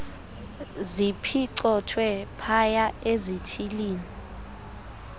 ziphicothwe phaya ezithilini